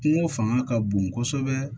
Kungo fanga ka bon kosɛbɛ